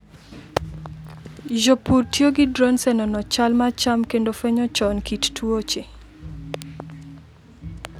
Jopur tiyo gi drones e nono chal mar cham kendo fwenyo chon kit tuoche.